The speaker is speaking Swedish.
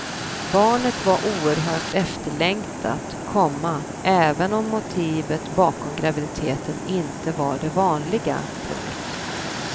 Barnet var oerhört efterlängtat, komma även om motivet bakom graviditeten inte var det vanliga. punkt